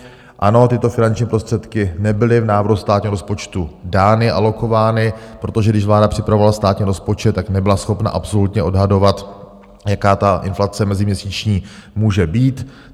Ano, tyto finanční prostředky nebyly v návrhu státního rozpočtu dány, alokovány, protože když vláda připravovala státní rozpočet, tak nebyla schopna absolutně odhadovat, jaká ta inflace meziměsíční může být.